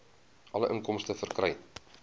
alle inkomste verkry